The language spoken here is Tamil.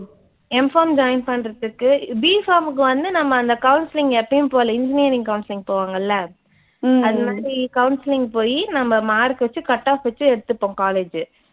MPharmjoin பண்றதுக்கு BPharm க்கு வந்து நம்ம அந்த counseling எப்பயும் போல engineering counseling போவாங்கல்ல அது மாதிரி counseling போய் நம்ப mark வச்சு cut-off வச்சு எடுத்துப்போம் college.